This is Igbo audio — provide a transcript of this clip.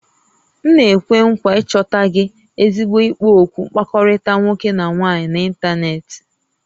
M na-ekwe nkwa ịchọta gị ezigbo ikpo okwu mkpakọrịta nwoke na nwaanyị n'ịntanetị